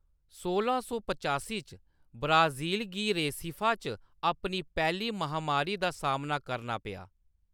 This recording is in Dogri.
सोलां सौ पचासी च, ब्राज़ील गी रेसिफा च अपनी पैह्‌ली महामारी दा सामना करना पेआ।